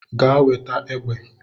Gaa weta egbe.